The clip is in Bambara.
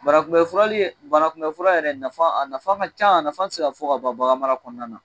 Bana kunbɛn furali bana kunbɛn fura yɛrɛ a nafa ka ca a nafa te se ka fɔ ka ban bagan mara kɔnɔna na